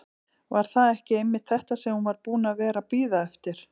Var það ekki einmitt þetta sem hún var búin að vera að bíða eftir?